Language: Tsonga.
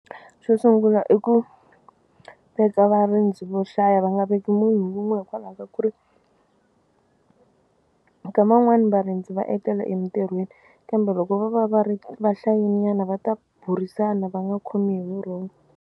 Xo sungula i ku veka varindzi vo hlaya va nga veki munhu wun'we hikwalaho ka ku ri nkama wun'wani varindzi va etlela emitirhweni kambe loko vo va va ri va hlayenyana va ta burisana va nga khomiwi hi vurhongo.